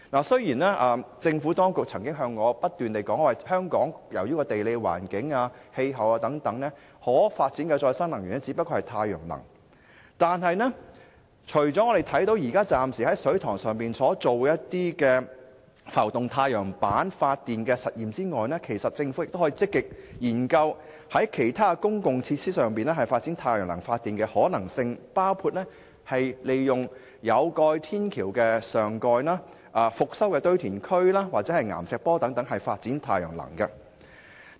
雖然政府當局曾不斷向我解釋，指由於地理環境和氣候問題等，香港可發展的再生能源只有太陽能，但政府現時除了在水塘上試驗浮動太陽板發電系統外，其實亦可積極研究在其他公共設施上發展太陽能發電的可能性，包括利用有蓋天橋上蓋、復修堆填區或岩石坡等空間發展太陽能。